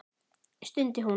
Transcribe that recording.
stundi hún.